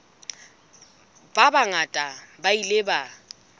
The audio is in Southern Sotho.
ba bangata ba ile ba